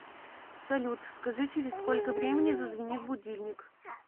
салют скажи через сколько времени зазвенит будильник